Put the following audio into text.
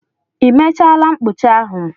I mechaala mkpụcha ahụ?